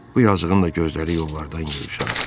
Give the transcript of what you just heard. Bu yazıqın da gözləri yollardan yığışırdı.